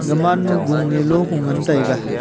Gaman ma going e lo gu ngan taiga .